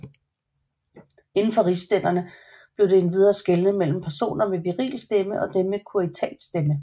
Indenfor rigsstænderne blev der endvidere skelnet mellem personer med virilstemme og dem med kuriatsstemme